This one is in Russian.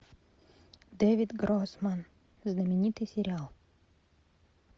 дэвид гроссман знаменитый сериал